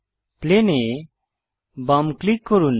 plane এ বাম click করুন